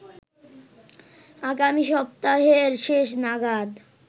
আগামী সপ্তাহের শেষ নাগাদ